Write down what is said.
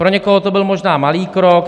Pro někoho to byl možná malý krok.